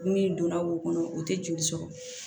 Ni donna wo kɔnɔ o tɛ joli sɔrɔ